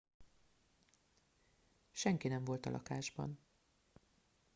senki nem volt a lakásban